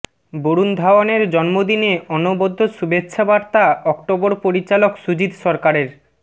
বরুণ ধাওয়ানের জন্মদিনে অনবদ্য শুভেচ্ছা বার্তা অক্টোবর পরিচালক সুজিত সরকারের